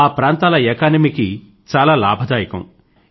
ఆ ప్రాంతాల ఎకానమీకి చాలా లాభదాయకం